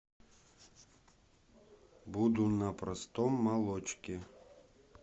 буду на простом молочке